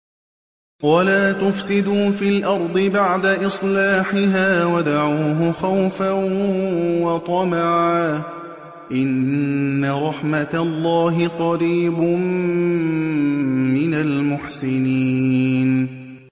وَلَا تُفْسِدُوا فِي الْأَرْضِ بَعْدَ إِصْلَاحِهَا وَادْعُوهُ خَوْفًا وَطَمَعًا ۚ إِنَّ رَحْمَتَ اللَّهِ قَرِيبٌ مِّنَ الْمُحْسِنِينَ